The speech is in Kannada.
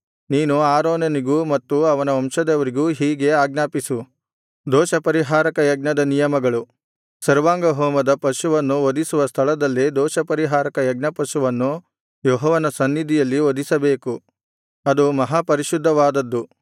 ನೀನು ಆರೋನನಿಗೂ ಮತ್ತು ಅವನ ವಂಶದವರಿಗೂ ಹೀಗೆ ಆಜ್ಞಾಪಿಸು ದೋಷಪರಿಹಾರಕ ಯಜ್ಞದ ನಿಯಮಗಳು ಸರ್ವಾಂಗಹೋಮದ ಪಶುವನ್ನು ವಧಿಸುವ ಸ್ಥಳದಲ್ಲೇ ದೋಷಪರಿಹಾರಕ ಯಜ್ಞಪಶುವನ್ನು ಯೆಹೋವನ ಸನ್ನಿಧಿಯಲ್ಲಿ ವಧಿಸಬೇಕು ಅದು ಮಹಾಪರಿಶುದ್ಧವಾದದ್ದು